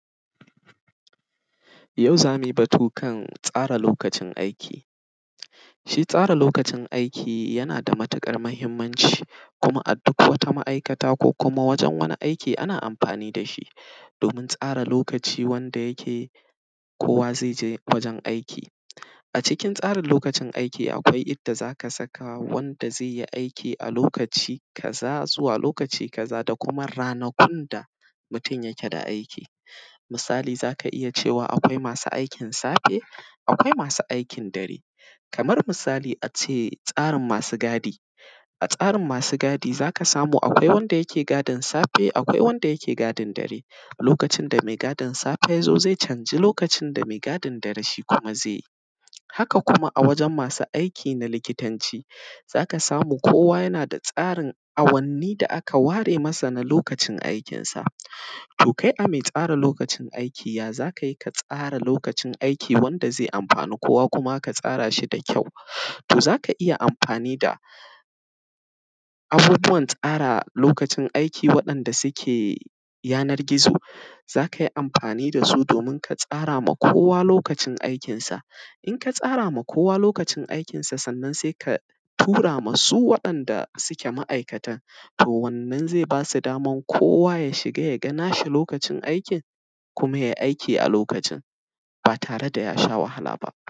Yau za mu yi batu kan tsara lokacin aiki, shi tsara lokacin aiki yana da matiƙar mahimmanci. Kuma a duk wata ma’aikata ko kuma wajen wani aiki ana amfani da shi domin tsara lokaci wanda yake kowa zai je wajen aiki. A cikin tsarin lokacin aiki, akwai inda za ka saka wanda zai yi aiki a lokaci kaza zuwa lokaci kaza da kuma ranakun da mutun yake da aiki. Misali za ka iya cewa akwai masu aikin safe, akwai masu aikin dare, kamar misali a ce, tsarin masu gadi a tsarin masu gadi za ka samu akwai wanda yake gadin safe, akwai wanda yake gadin dare. Lokacin da me gadin safe ya zo ze canji lokacin da me gadin dare shi kuma ze yi Haka kuma a wajen masu aiki na likitanci, za ka samu kowa yana da tsarin awanni da aka ware masa na lokacin aikinsa. To, kai a mai tsara lokacin aiki ya za ka yi ka tsara lokacin aiki wanda ze amfani kowa kuma aka tsara shi da kyau. To, za ka iya amfani da, abubuwan tsara lokacin aiki waɗanda suke yanar gizo, za ka yi amfani da su domin ka tsara ma kowa lokacin aikinsa. In ka tsara ma kowa lokacin aikinsa, sannan sai ka tura ma su waɗanda suke ma’aikatan to wannan ze ba su daman kowa ya shiga ya ga nashi lokacin aikin, kuma yai aiki a lokacin, ba tare da ya sha wahala ba.